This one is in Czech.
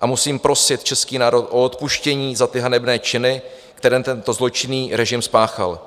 a musím prosit český národ za odpuštění za ty hanebné činy, které tento zločinný režim spáchal.